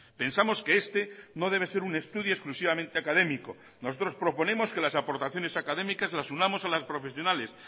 pensamos que este no debe ser un estudio exclusivamente académico nosotros proponemos que las aportaciones académicas las unamos a las profesionales